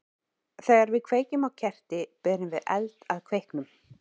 Þegar við kveikjum á kerti berum við eld að kveiknum.